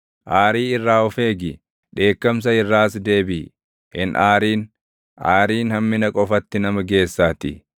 Aarii irraa of eegi; dheekkamsa irraas deebiʼi; hin aarin; aariin hammina qofatti nama geessaatii.